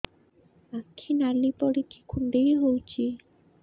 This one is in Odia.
ଆଖି ନାଲି ପଡିକି କୁଣ୍ଡେଇ ହଉଛି